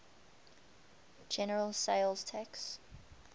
general sales tax